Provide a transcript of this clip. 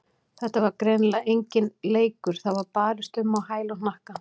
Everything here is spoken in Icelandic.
Þetta var greinilega enginn leikur, það var barist um á hæl og hnakka.